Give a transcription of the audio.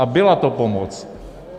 A byla to pomoc.